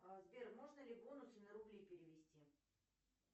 сбер можно ли бонусы на рубли перевести